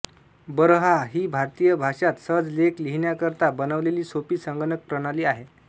बरहा ही भारतीय भाषांत सहज लेख लिहिण्याकरता बनवलेली सोपी संगणक प्रणाली आहे